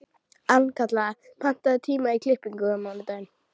Arnkatla, pantaðu tíma í klippingu á mánudaginn.